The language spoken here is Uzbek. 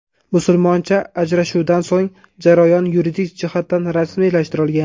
Musulmoncha ajrashuvdan so‘ng jarayon yuridik jihatdan rasmiylashtirilgan.